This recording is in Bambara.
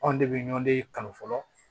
Anw de bɛ ɲɔndi kanu fɔlɔ